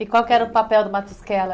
E qual que era o papel do Matusquela?